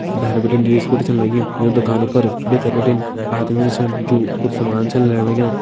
भैर बिटिन दुई स्कूटी छन लगीं यु दुकानों पर भीतर बिटिन आदमी भी छन जू कुछ सामाण छन लेण लग्यां।